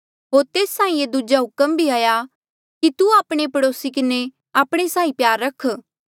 होर तेस साहीं ये दूजा हुक्म भी हाया कि तू आपणे पड़ोसी किन्हें आपणे साहीं प्यार रख